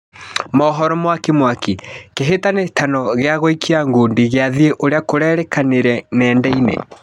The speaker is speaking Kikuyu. Mohoro mwakimwaki: Kĩhĩtahĩtano gĩa gũikia ngundi gĩa thĩ ũrĩa kũrekĩkire nendainĩ.